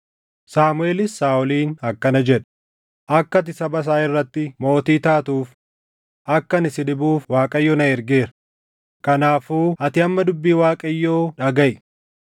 Saamuʼeelis Saaʼoliin akkana jedhe; “Akka ati saba isaa Israaʼel irratti mootii taatuuf akka ani si dibuuf Waaqayyo na ergeera; kanaafuu ati amma dubbii Waaqayyoo dhagaʼi.